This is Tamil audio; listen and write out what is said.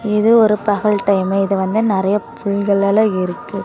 இது ஒரு பகல் டைம் இதுல வந்து நெரிய புல்கள்லாம் இருக்கு.